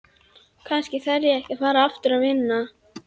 Kannski þarf ég að fara aftur að vinna.